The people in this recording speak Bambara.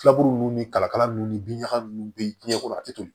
Filaburu nunnu ni kalakala ninnu ni bin ɲaga nunnu be yen jiɲɛ kɔnɔ a te toli